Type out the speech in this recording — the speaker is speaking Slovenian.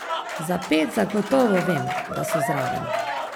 Za pet zagotovo vem, da so zraven.